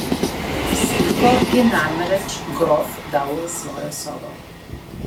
Sliko je namreč grof dal v svojo sobo.